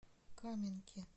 каменки